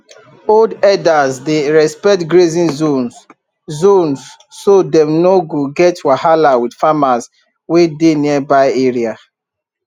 old herders dey respect grazing zones zones so dem no go get wahala with farmers wey dey nearby area